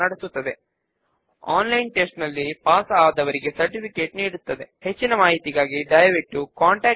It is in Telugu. మనము నేర్చుకున్నది సంగ్రహముగా ఒక సబ్ ఫామ్ ను ఎలా క్రియేట్ చేయాలో నేర్చుకున్నాము